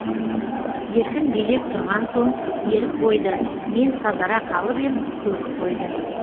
еркін билеп тұрған соң ерік бойды мен сазара қалып ем көріп қойды